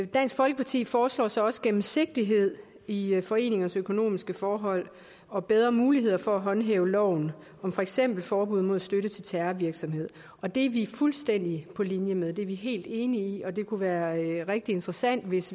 dansk folkeparti foreslår så også gennemsigtighed i foreningers økonomiske forhold og bedre muligheder for at håndhæve loven om for eksempel forbud mod støtte til terrorvirksomhed og det er vi fuldstændig på linje med det er vi helt enige i og det kunne være rigtig interessant hvis